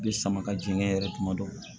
Bɛ sama ka jigin kɛ yɛrɛ kuma dɔ la